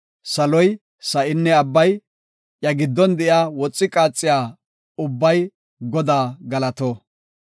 Saloy, sa7inne abbay, iya giddon de7iya woxi qaaxiya ubbay Godaa galato.